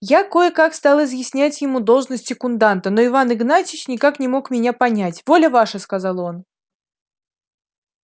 я кое-как стал изъяснять ему должность секунданта но иван игнатьич никак не мог меня понять воля ваша сказал он